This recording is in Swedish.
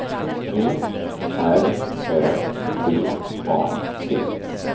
P R Ö V A T